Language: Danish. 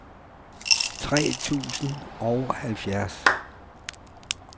tre tusind og halvfjerds